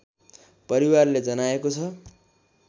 परिवारले जनाएको छ